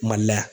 Mali la yan